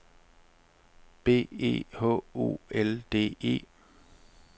B E H O L D E